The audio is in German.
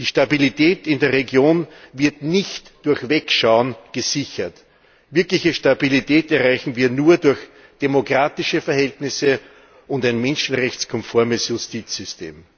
Die Stabilität in der Region wird nicht durch Wegschauen gesichert. Wirkliche Stabilität erreichen wir nur durch demokratische Verhältnisse und ein menschenrechtskonformes Justizsystem.